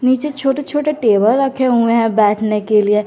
नीचे छोटे छोटे टेबल रखे हुए हैं बैठने के लिए।